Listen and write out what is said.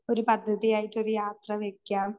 ഒരു പദ്ധതിയായിട്ടൊരു